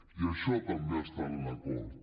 i això també està en l’acord